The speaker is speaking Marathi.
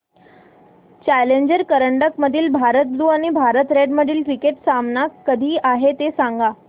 चॅलेंजर करंडक मधील भारत ब्ल्यु आणि भारत रेड मधील क्रिकेट सामना कधी आहे ते सांगा